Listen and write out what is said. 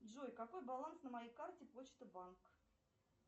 джой какой баланс на моей карте почта банк